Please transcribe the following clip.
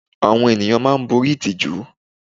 Àwọn ènìyàn máa ń borí ìtìjú.